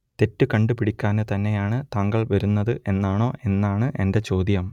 തെറ്റ് കണ്ടു പിടിക്കാൻ തന്നെയാണ് താങ്കൾ വരുന്നത് എന്നാണോ എന്നാണ് എന്റെ ചോദ്യം